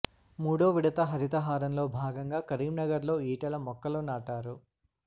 మూడో విడత హరితహారంలో భాగంగా కరీంనగర్ లో ఈటెల మొక్కలు నాటారు